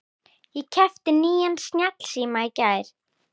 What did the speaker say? Ég keypti nýjan snjallsíma í gær.